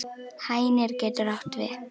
Hænir getur átt við